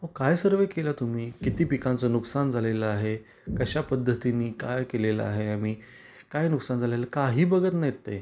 अहो काय सर्वे केला आहे तुम्ही. किती पिकांच नुकसान झालेल आहे, कश्या पद्धतीनी काय केलेल आहे आम्ही, काय नुकसान झाले आहे, काही बघत नाहीत ते.